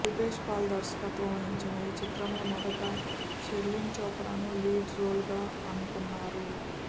రూపేష్ పాల్ దర్శకత్వం వహించిన ఈ చిత్రంలో మొదట షెర్లిన్ చోప్రాను లీడ్ రోల్గా అనుకున్నారు